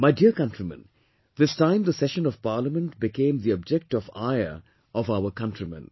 My dear countrymen, this time the session of Parliament became the object of ire of our countrymen